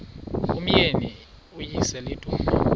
umyeni uyise iduna